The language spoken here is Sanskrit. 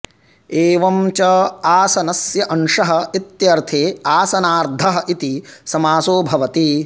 एवं च आसनस्य अंशः इत्यर्थे आसनार्धः इति समासो भवति